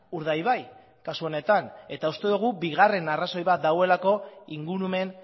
urdaibai kasu honetan eta uste dugu bigarren arrazoi bat dagoelako ingurumen